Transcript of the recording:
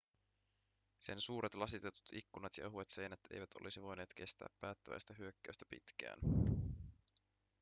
sen suuret lasitetut ikkunat ja ohuet seinät eivät olisi voineet kestää päättäväistä hyökkäystä pitkään